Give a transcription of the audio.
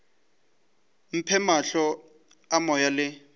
mphe mahlo a moya le